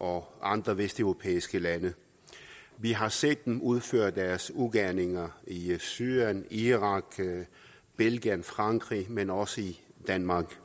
og andre vesteuropæiske lande vi har set dem udføre deres ugerninger i syrien irak belgien frankrig men også i danmark